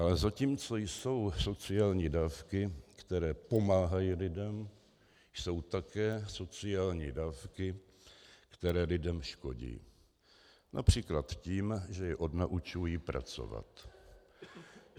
A zatímco jsou sociální dávky, které pomáhají lidem, jsou také sociální dávky, které lidem škodí, například tím, že je odnaučují pracovat.